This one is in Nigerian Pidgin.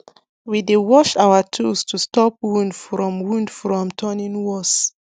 we dey wash our tools to stop wound from wound from turning worse